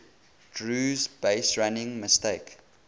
drew's baserunning mistake